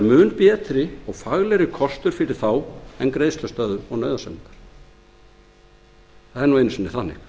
mun betri og faglegri kostur fyrir þá en greiðslustöðvun og nauðasamningar það er nú einu sinni þannig